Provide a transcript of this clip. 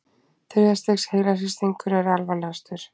Þriðja stigs heilahristingur er alvarlegastur.